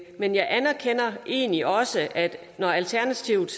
men jeg anerkender egentlig også at når alternativet